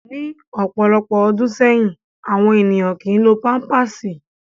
Ni ọpọlọpọ ọdun sẹyin, awọn eniyan kii lo pampạsi